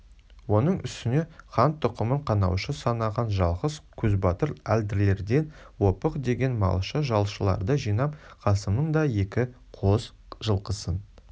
оның үстіне хан тұқымын қанаушы санаған жалғыз көзбатыр әлділерден опық жеген малшы-жалшыларды жинап қасымның да екі қос жылқысын